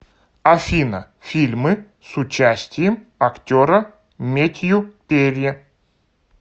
афина фильмы с участием актера метью перри